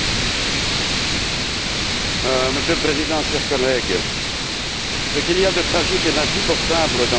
Monsieur le Président, chers collègues, ce qu'il y a de tragique et d'insupportable dans le traitement de cruel infligé à M.